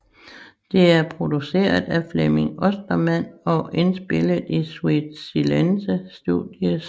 Det er produceret af Flemming Ostermann og indspillet i Sweet Silence Studios